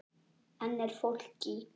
Nánar að henni síðar.